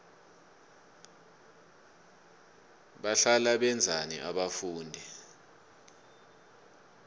bahlala benzani abafundi